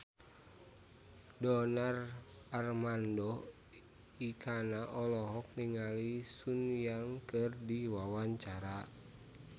Donar Armando Ekana olohok ningali Sun Yang keur diwawancara